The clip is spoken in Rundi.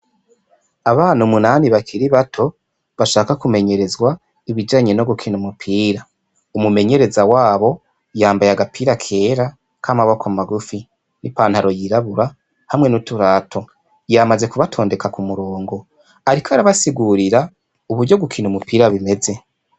Abana umunani bakiri bato bashaka ku menyerezwa ibijanye no gukina umupira. Umumenyereza wabo yambaye agapira kera ka maboko magufi n'ipantaro yirabura hamwe n'uturato ,Yamaze ku batondeka ku mirongo ariko arabasigurira uburyo gukina umupira bimeze .